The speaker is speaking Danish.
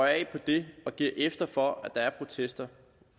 af for det og giver efter for at der er protester